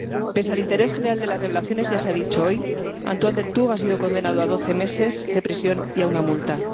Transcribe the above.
Pese al interés general de las revelaciones —ya se ha dicho hoy—, Antoine Deltour ha sido condenado a doce meses de prisión y a una multa.